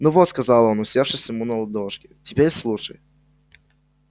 ну вот сказал он усевшись ему на ладошки теперь слушай